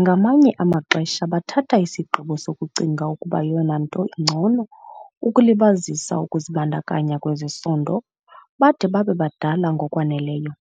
Ngamanye amaxesha bathatha isigqibo sokucinga ukuba yeyona nto ingcono ukulibazisa ukuzibandakanya kwezesondo bade babe badala ngokwaneleyo,